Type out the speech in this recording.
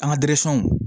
An ka